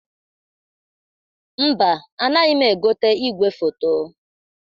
Mba, anaghị m egote igwefoto.